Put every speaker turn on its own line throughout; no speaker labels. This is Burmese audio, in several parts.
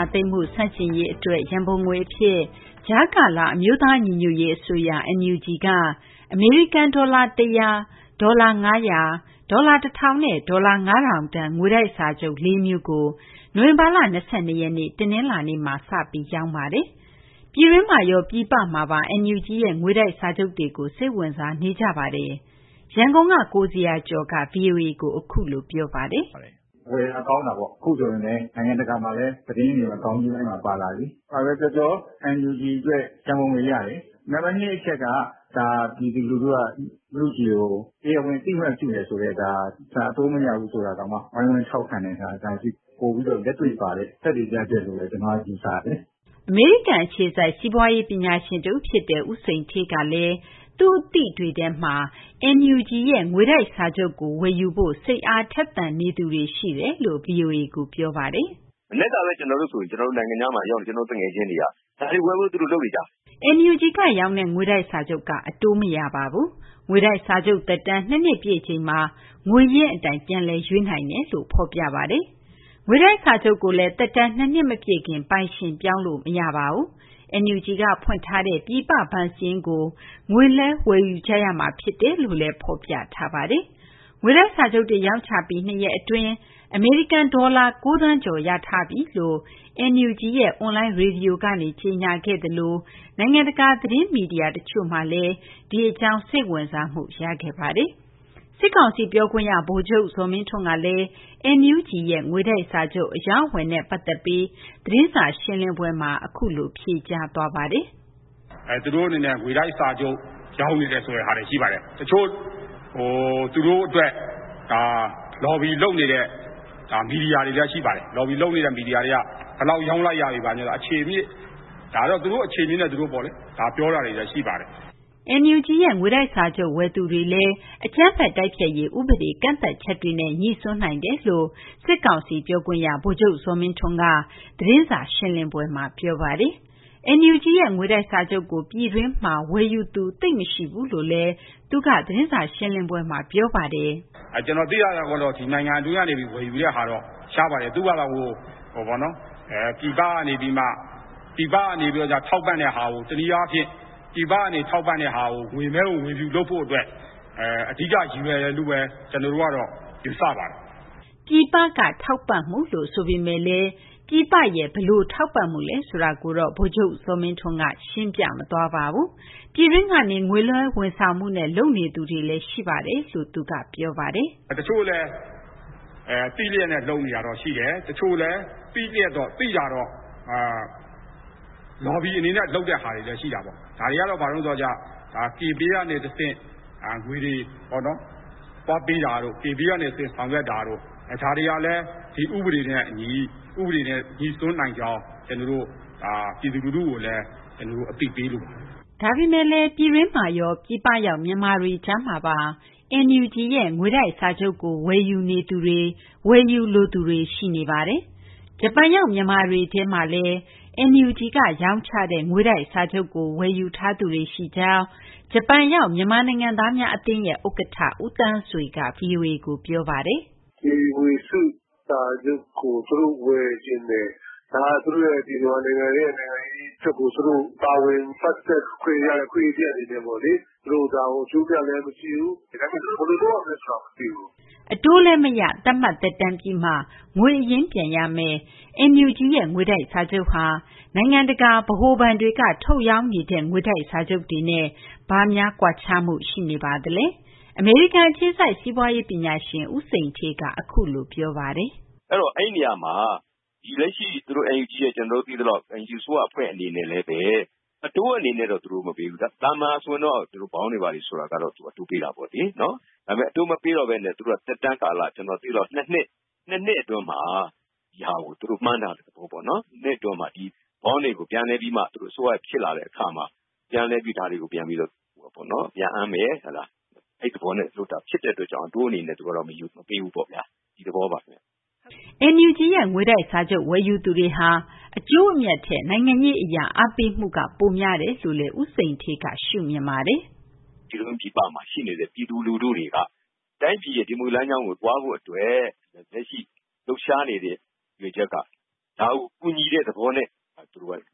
ာသိမ်းမှု ဆန့်ကျင်ရေး အတွက် ရန်ပုံငွေ အဖြစ် ကြားကာလ အမျိုးသား ညီညွတ်ရေး အစိုးရ NUG က ဒေါ်လာ ၁၀၀၊ ဒေါ်လာ ၅၀၀၊ ဒေါ်လာ ၁,၀၀၀ နဲ့ ဒေါ်လာ ၅,၀၀၀ တန် ငွေတိုက် စာချုပ် ၄ မျိုးကို နိုဝင်ဘာလ ၂၂ ရက်နေ့ တနလာၤနေ့က စတင် ရောင်းချပါတယ်။ ပြည်တွင်းမှာရော ပြည်ပမှာပါ NUG ရဲ့ ငွေတိုက်စာချုပ်တွေကို စိတ်ဝင်စားနေကြပါတယ်။ ရန်ကုန်က ကိုဇေယျာကျော်က ဗွီအိုအေကို အခုလို ပြောပါတယ်။ “
ဝယ်တာကောင်းတာပေါ့။ အခုဆိုရင်ပဲ နိုင်ငံတကာမှာ သတင်းတွေမှာ ခေါင်းကြီးပိုင်းမှာ ပါလာပြီလေ။ ဘာပဲပြောပြော NUG အတွက် ရံပုံငွေရတယ်။ နံပတ်၂ အချက်က ဒါ ပြည်သူလူထုက NUG ကို တရားဝင် အသိအမှတ်ပြုတယ်ဆိုတဲ့- ဒါ အတိုးမရဘူးဆိုတာတောင်မှ ဝိုင်းဝန်းထောက်ခံတယ်ဆိုတာ ပိုပြီးတော့ လက်တွေ့ပါတဲ့ သက်သေပြချက်လို့ပ
ဲလို့ ကျနော်က ယူဆတယ်လေ။
” အမေရိကန်က စီးပွားရေး ပညာရှင် တဦး ဖြစ်သူ ဦးစိန်ဌေးကလည်း သူ့ အသိတွေထဲမှာလည်း NUG ရဲ့ ငွေတိုက် စာချုပ်ကို ဝယ်ယူဖို့ စိတ်အားထက်သန်သူတွေ ရှိတယ်လို့ ဗွီအိုအေကို ပြောပါတယ်။
“ မနက်ကဆို နိုင်ငံခြားမှာ ရောက်နေတဲ့ ကျနော့် သူငယ်ချင်းတွေက ဒါတွေ ဝယ်ဖို့ သူတို့ လုပ်နေကြပြီ
။ ” NUG က ရောင်းတဲ့ ငွေတိုက် စာချုပ်က အတိုးမရပါဘူး။ ငွေတိုက် စာချုပ် သက်တမ်း ၂ နှစ် ပြည့်ချိန်မှာ ငွေရင်း အတိုင်း ပြန်လည် ရွေးနိုင်တယ်လို့ ဖော်ပြပါတယ်။ ငွေတိုက် စာချုပ်ကိုလည်း သက်တမ်း ၂ နှစ် မပြည့်ခင် ပိုင်ရှင် ပြောင်းလို့လည်း မရပါဘူး။ NUG က ဖွင့်ထားတဲ့ ပြည်ပ ဘဏ်စာရင်းကို ငွေလွှဲ ဝယ်ယူကြရမှာ ဖြစ်တယ်လို့လည်း ဖော်ပြထားပါတယ်။ ငွေတိုက် စာချုပ်တွေ ရောင်းချပြီး ၂ ရက်အတွင်းမှာ အမေရိကန်ဒေါ်လာ ၉ သန်းကျော်ရရှိထားပြီလို့ NUG ရဲ့ အွန်လိုင်းရေဒီယိုကနေ ကြေညာခဲ့သလို နိုင်ငံတကာ သတင်းမီဒီယာတွေမှာလည်း ဒီအကြောင်း စိတ်ဝင်စားမှုရခဲ့ပါတယ်။ စစ်ကောင်စီ ပြောခွင့်ရ ဗိုလ်ချုပ် ဇော်မင်းထွန်းကလည်း NUG ရဲ့ ငွေတိုက် စာချုပ် အရောင်းအဝယ်နဲ့ ပတ်သက်ပြီး သတင်းစာရှင်းလင်းပွဲမှာ အခုလို ဖြေကြားသွားပါတယ်
။ “ သူတို့ အနေနဲ့ ငွေတိုက် စာချုပ် ရောင်းနေတယ်ဆိုတဲ့ဟာတွေ ရှိပါတယ်။ တချို့ သူတို့ အတွက် လော်ဘီ လုပ်နေတဲ့ မီဒီယာတွေလည်း ရှိပါတယ်။ ဒါ လော်ဘီ လုပ်နေတဲ့ မီဒီယာတွေက ဘယ်လောက် ရောင်းလိုက်ရပြီ ဘာညာ ဆိုပြီးတော့ အခြေအမြစ်။ ဒါတော့ သူတို့ အခြေအမြစ်နဲ့ သူတို့ပေါ့လေ။ ဒါ ပြောတာတွေလည်း ရှိပါတယ်။
” NUG ရဲ့ ငွေတိုက်စာချုပ် ဝယ်သူတွေလည်း အကြမ်းဖက် တိုက်ဖျက်ရေး ဥပဒေ ကန့်သတ်ချက်တွေနဲ့ ညိစွန်းနိုင်တယ်လို့လည်း စစ်ကောင်စီ ပြောခွင့်ရ ဗိုလ်ချုပ် ဇော်မင်းထွန်းက သတင်းစာ ရှင်းလင်းပွဲမှာ ပြောပါတယ်။ NUG ရဲ့ ငွေတိုက်စာချုပ်ကို ပြည်တွင်းမှ ဝယ်ယူသူ သိပ်မရှိဘူးလို့လည်း ဗိုလ်ချုပ်ဇော်မင်းထွန်းက သတင်းစာ ရှင်းလင်းပွဲမှာ ပြောပါတယ်
။ “ ကျနော် သိသလောက်ကတော့ ဒီ နိုင်ငံတွင်းကနေ ဝယ်ယူတဲ့ဟာကတော့ ရှားပါတယ်။ သူ့ဘာသာ ပြည်ပက နေပြီးမှ ပြည်ပကနေ ထောက်ပံ့တဲ့ဟာကို တနည်း အားဖြင့် ပြည်ပကနေ ထောက်ပံ့တဲ့ဟာကို ငွေမည်းကို ငွေဖြူ လုပ်ဖို့ အတွက် အဓိက ရည်ရွယ်တယ်လို့ဘဲ ကျနော်တို့ကတော့ ယူဆပါတယ်။
” ပြည်ပက ထောက်ပံ့မှုလို့ ဆိုပေမယ့်လည်း ပြည်ပ ဘယ်လို ထောက်ပံ့မှုလဲ ဆိုတာကိုတော့ ဗိုလ်ချုပ် ဇော်မင်းထွန်းက မပြောပါဘူး။ ပြည်တွင်းကနေ ငွေလွှဲဝန်ဆောင်မှုနဲ့ လုပ်နေသူတွေလည်း ရှိတယ်လို့လည်း သူက ပြောပါတယ်။
“ တချို့လည်း သိလျက်နဲ့ လုပ်နေတာတော့ ရှိတယ်။ တချို့လည်း သိတာတော့ လော်ဘီ အနေနဲ့ လုပ်တဲ့ဟာတွေလည်း ရှိတာပေါ့။ ဒါတွေကတော့ ဘာတုန်း ဆိုတော့ကျ Kpay ကနေ တဆင့် ငွေတွေ သွားပေးတာတို့ ၊ K Pay ကနေ တဆင့် ဆောင်ရွက်တာတို့ ဒါတွေကလည်း ဒီ ဥပဒေနဲ့ အညီ ဥပဒေနဲ့ ညိစွန်းနိုင်ကြောင်း ဒါ ပြည်သူ လူထုကိုလည်း အသိပေးလိုပါတယ်
။” ဒါပေမယ့် ပြည်တွင်းမှာရော ပြည်ပရောက် မြန်မာတွေ ကြားမှာပါ NUG ရဲ့ ငွေတိုက် စာချုပ်ကို ဝယ်ယူနေသူတွေ ဝယ်ယူလိုသူတွေ ရှိနေပါတယ်။ ဂျပန်ရောက် မြန်မာတွေထဲမှာလည်း NUG ကရောင်းချတဲ့ ငွေတိုက်စာချုပ်ကို ဝယ်ယူထားသူတွေရှိကြောင်း ဂျပန်ရောက် မြန်မာနိုင်ငံသားများအသင်းရဲ့ ဥက္ကဋ္ဌ ဦးသန်းဆွေက ဗွီအိုအေကို ပြောပါ
တယ်။ “ဒီငွေတိုက်စာချုပ်ကို သူတို့ဝယ်ချင်တယ်၊ ဒါသူတို့မြန်မာနိုင်ငံရဲ့ နိုင်ငံရေးအတွက်ကို သူတို့ ပါဝင်ပတ်သက်ခွင့်ရတဲ့ အခွင့်အရေး တရပ်အနေနဲ့ပေါ့လေ။ ဒါကို အကျိုးအမြတ်လည်းမကြည့်ဘူး။ ဒါပေမဲ့ သူတို့ဘယ်လိုလုပ်ရမယ်ဆိုတာကို မသိဘူး။ ” အတို
းလည်း မရ၊ သတ်မှတ် သက်တမ်း ပြည့်မှ ငွေအရင်း ပြန်ရမယ့် NUG ရဲ့ ငွေတိုက် စာချုပ်ဟာ နိုင်ငံတကာ ဗဟိုဘဏ်တွေက ထုတ်ရောင်းနေတဲ့ ငွေတိုက် စာချုပ်တွေနဲ့ ဘာကွားခြားမှု ရှိနေပါသလဲ။ အမေရိကန် အခြေစိုက် စီးပွားရေး ပညာရှင် ဦးစိန်ဌေးက အခုလို ပြောပါတယ်
။ “ အဲဒီ နေရာမှာ လက်ရှိ ကျနော်တို့ သိသလောက် NUG အစိုးရ အဖွဲ့ အနေနဲ့လည်းဘဲ အတိုးအနေနဲ့တော့ သူတို့ မပေးဘူး။ သာမန် ဆိုရင်တော့ ဒီလို Bond တွေ ဘာတွေက အတိုးပေးတာပေါ့လေ။ ဒါပေမယ့် သူတို့က အတိုးမပေးတော့ဘဲနဲ့ သက်တမ်း ကာလ သူတို့က ကျနော် သိသလောက် ၂ နှစ် အတွင်းမှာ ဒီဟာကို သူတို့ မှန်းတာက ၂ နှစ် အတွင်းမှာ သူတို့ အစိုးရ ဖြစ်လာတဲ့ အခါမှာ ဒါတွေကို ပြန်အမ်းမယ်။ အဲဒီ သဘောနဲ့ လုပ်တာ ဖြစ်တဲ့ အတွက်ကြောင့် အတိုး အနေနဲ့ သူတို့က မပေးဘူးပေါ့ဗျာ။ ဒီသဘောပါဘဲ။
” NUG ရဲ့ ငွေတိုက် စာချုပ် ဝယ်ယူသူတွေဟာ အကျိုးအမြတ်ထက် နိုင်ငံရေး အရ အားပေးမှုက ပိုများတယ်လို့လည်း ဦးစိန်ဌေးက ရှုမြင်ပါ
တယ်။ “ ပြည်တွင်း ပြည်ပမှာ ရှိနေတဲ့ ပြည်သူ လူထုတွေက တိုင်းပြည်ရဲ့ ဒီမိုကရေစီ လမ်းကြောင်းကို သွားဖို့ အတွက် လက်ရှိ လှုပ်ရှားနေတဲ့ ရည်ရွယ်ချက်က ဒါကို ကူညီတဲ့ သဘောနဲ့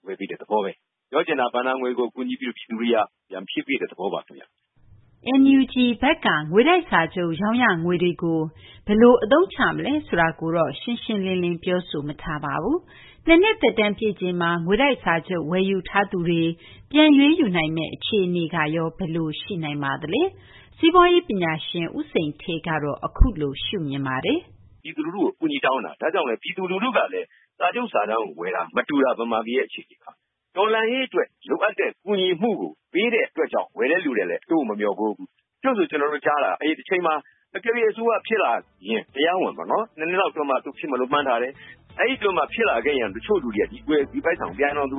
ဝယ်ပေးတဲ့ သဘောဘဲ။ ပြောချင်တာကတော့ ဘဏ္ဍာငွေကို ပြည်သူတွေက ပြန်ဖြည့်ပေးတဲ့ သဘောပါ ခင်ဗျ။ ”
NUG ဘက်က ငွေတိုက် စာချုပ် ရောင်းရငွေတွေကို ဘယ်လို အသုံးချမလဲ ဆိုတာကိုတော့ ရှင်းရှင်းလင်းလင်း ပြောဆိုမထားပါဘူး။ ၂ နှစ် သက်တမ်း ပြည့်ချိန်မှာ ငွေတိုက် စာချုပ် ဝယ်ယူထားသူတွေ ပြန်ရွေးယူနိုင်မယ့် အခြေအနေကရော ဘယ်လို ရှိနိုင်ပါသလဲ။ စီးပွားရေး ပညာရှင် ဦးစိန်ဌေးက အခုလို ရှုမြင်ပါတယ်။
“ ပြည်သူ လူထုကို အကူအညီ တောင်းတာ။ ဒါကြောင့်လည်း ပြည်သူ လူထုကလည်း စာချုပ်စာတမ်းကို ဝယ်တာ မတူတာ ဗမာပြည်ရဲ့ အခြေအနေက။ တော်လှန်ရေး အတွက် လိုအပ်တဲ့ ကူညီမှုကို ပေးတဲ့ အတွက်ကြောင့် ဝယ်တဲ့ သူတွေကလည်း အတိုးကို မမျှော်ကိုးဘူး။ တချို့ဆို ကျနော်တို့ ကြားတာ တချိန်မှာ အကယ်၍ အစိုးရ ဖြစ်လာရင် တရားဝင်ပေါ့နော်။ ၂ နှစ်လောက် အတွင်းမှာ သူဖြစ်မယ်လို့ မှန်းထားတယ်။ အဲဒီ အတွင်းမှာ ဖြစ်လာခဲ့ရင် တချို့လူတွေက ဒီပိုက်ဆံကို ပြန်တောင် သူ